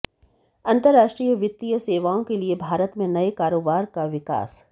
अंतर्राष्ट्रीय वित्तीय सेवाओं के लिए भारत में नए कारोबार का विकास